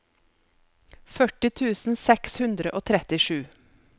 førti tusen seks hundre og trettisju